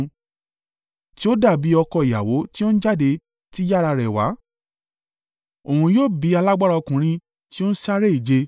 Tí ó dàbí ọkọ ìyàwó tí ó ń jáde ti yàrá rẹ̀ wá, òun yọ bí alágbára ọkùnrin tí ó ń sáré ìje.